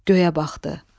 Göyə baxdı.